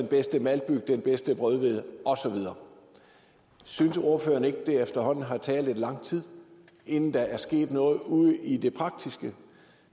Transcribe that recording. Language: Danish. bedste maltbyg den bedste brødhvede og så videre synes ordføreren ikke det efterhånden har taget lidt lang tid inden der er sket noget ude i det praktiske